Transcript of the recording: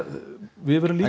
við verðum